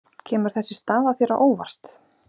Kemur þessi staða þér á óvart?